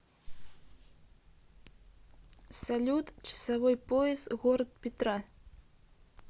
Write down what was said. салют часовой пояс город петра